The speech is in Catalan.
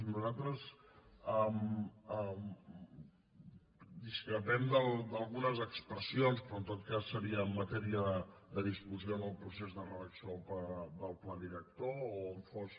nosaltres discrepem d’algunes expressions però en tot cas serien matèria de discussió en el procés de redacció del pla director o on fos